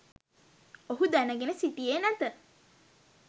ඔහු දැනගෙන සිටියේ නැත